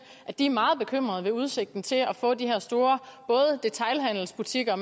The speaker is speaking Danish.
at de er meget bekymrede ved udsigten til at få de her store både detailhandelsbutikker